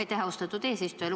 Aitäh, austatud eesistuja!